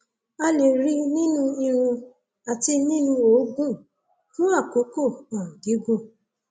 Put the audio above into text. a lè rí i i nínú irun àti nínú òógùn fún àkókò um gígùn